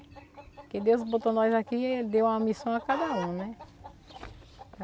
Porque Deus botou nós aqui e deu uma missão a cada um, né?